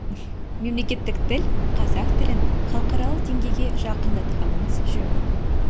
мемлекеттік тіл қазақ тілін халықаралық деңгейге жақындатқанымыз жөн